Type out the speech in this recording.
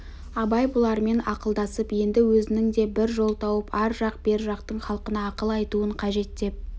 абай бұлармен ақылдасып енді өзінің де бір жол тауып ар жақ бер жақтың халқына ақыл айтуын қажет деп